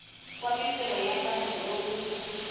wa mintirho ya vanhu lowu